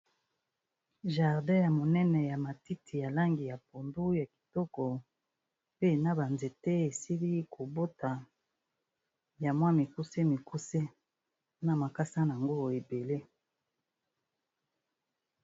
Jardin ya monene ya matiti ya langi ya pondu ya kitoko, pe na ba nzete esili kobota ya mwa mikuse mikuse na makasa nango ebele.